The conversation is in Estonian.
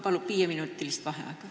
Palun viieminutilist vaheaega!